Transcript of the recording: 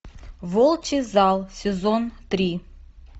волчий зал сезон три